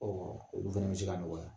Ɔ olu fana bɛ se k"a nɔgɔya.